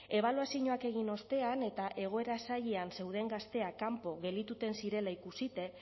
ebaluazioak egin ostean eta egoera zailean zeuden gazteak kanpo geldituten zirela ikusita